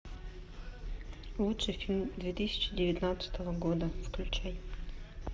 лучший фильм две тысячи девятнадцатого года включай